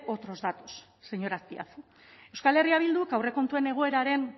otros datos señor azpiazu euskal herria bilduk aurrekontuen egoeraren